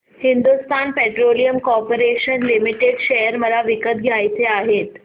Hindustan petroleum corporation limited share मला विकत घ्यायचे आहेत